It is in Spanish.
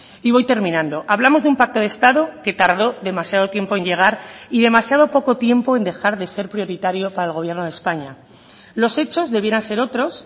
y voy terminando hablamos de un pacto de estado que tardó demasiado tiempo en llegar y demasiado poco tiempo en dejar de ser prioritario para el gobierno de españa los hechos debieran ser otros